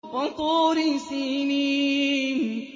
وَطُورِ سِينِينَ